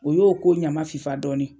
O y'o ko ɲama fifa dɔɔni